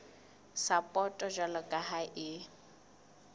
sapoto jwalo ka ha e